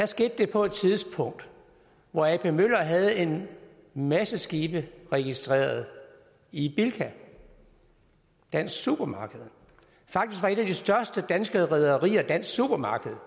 skete det på et tidspunkt hvor ap møller havde en masse skibe registreret i bilka dansk supermarked faktisk var et af de største danske rederier dansk supermarked